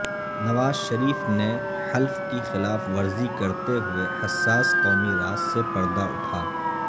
نواز شریف نے حلف کی خلاف ورزی کرتے ہوئے حساس قومی راز سے پردہ اٹھا